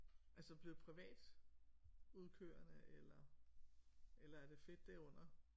Altså blev privatudkørende eller eller er det fedt det er under